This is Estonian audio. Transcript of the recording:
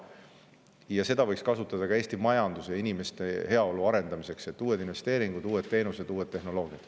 Ja seda võiks kasutada ka Eesti majanduse ja inimeste heaolu arendamiseks: uued investeeringud, teenused ja tehnoloogiad.